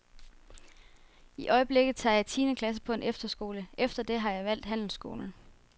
I øjeblikket tager jeg tiende klasse på en efterskole, efter det har jeg valgt handelsskolen.